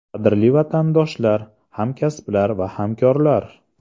Qadrli vatandoshlar, hamkasblar va hamkorlar!